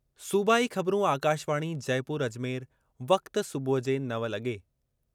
सूबाई ख़बरूं आकाशवाणी जयपुर-अजमेर वक़्ति: सुबुह जे नव लगे॒